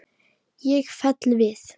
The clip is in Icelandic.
Ég fell við.